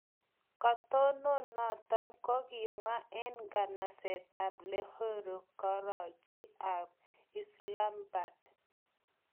Katinon noton ko kokimwa en nganaset ab Lahore, Karachi ak Islamabad.